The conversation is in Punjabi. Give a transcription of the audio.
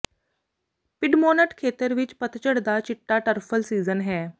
ਪਿਡਮੌਨਟ ਖੇਤਰ ਵਿਚ ਪਤਝੜ ਦਾ ਚਿੱਟਾ ਟਰਫਲ ਸੀਜ਼ਨ ਹੈ